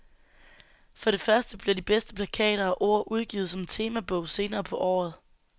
For det første bliver de bedste plakater og ord udgivet som temabog senere på året.